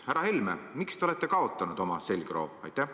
Härra Helme, miks te olete kaotanud oma selgroo?